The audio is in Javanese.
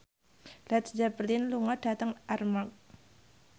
Led Zeppelin lunga dhateng Armargh